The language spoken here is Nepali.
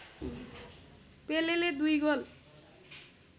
पेलेले दुई गोल